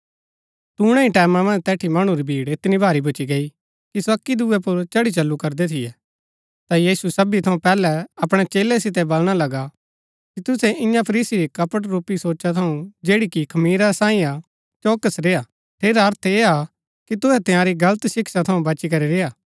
तूणै ही टैमां मन्ज तैठी मणु री भीड़ ऐतनी भारी भूच्ची गई कि सो अक्की दुऐ पुर चढ़ी चलू करदै थियै ता यीशु सबी थऊँ पहलै अपणै चेलै सितै बलणा लगा कि तुसै ईयां फरीसी री कपट रूपी सोचा थऊँ जैड़ी कि खमीरा सांई हा चौकस रेय्आ ठेरा अर्थ ऐह हा कि तुहै तंयारी गलत शिक्षा थऊँ बची करी रेय्आ